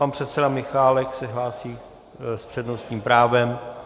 Pan předseda Michálek se hlásí s přednostním právem.